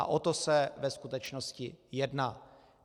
A o to se ve skutečnosti jedná.